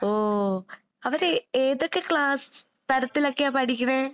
ഓ. അവര് ഏതൊക്കെ ക്ലാസ് തരത്തിലൊക്കെയാ പഠിക്കണെ?